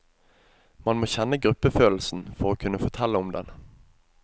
Man må kjenne gruppefølelsen for å kunne fortelle om den.